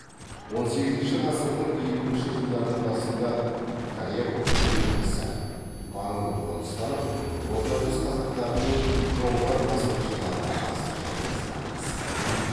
он сегізінші ғасырдың елуінші жылдардың басында коряков бекінісі маңын қоныстанып орта жүз қазақтарының жоңғар басқыншыларына қарсы шайқасына қатысты